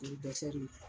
O ye ye